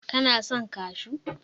kana son kashu!